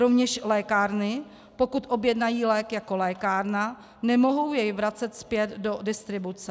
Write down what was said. Rovněž lékárny, pokud objednají lék jako lékárna, nemohou jej vracet zpět do distribuce.